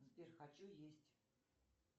сбер хочу есть